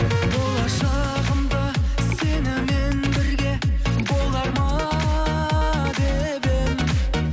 болашағымды сенімен бірге болар ма деп едім